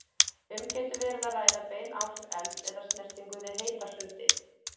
Um getur verið að ræða bein áhrif elds eða snertingu við heita hluti.